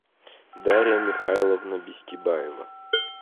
дарья михайловна бестибаева